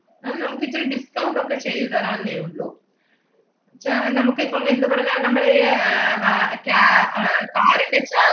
അത് നമ്മക്കിച്ചിരി discount ഒക്കെ ചെയ്തു തരാന്നേ ഉള്ളൂ. ച~ നമ്മുക്കിപ്പം എന്തു പറഞ്ഞാ, നമ്മള് ഈ ഏർ വാ~ ക്യാ~ ആഹ്